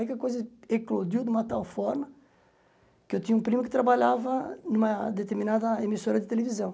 Aí que a coisa eclodiu de uma tal forma que eu tinha um primo que trabalhava numa determinada emissora de televisão.